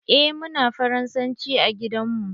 Eh muna faransanci a gidan mu.